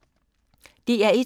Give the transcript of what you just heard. DR1